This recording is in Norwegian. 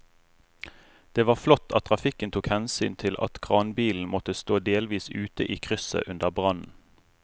Det var flott at trafikken tok hensyn til at kranbilen måtte stå delvis ute i krysset under brannen.